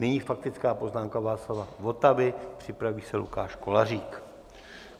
Nyní faktická poznámka Václava Votavy, připraví se Lukáš Kolářík.